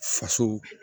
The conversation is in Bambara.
Faso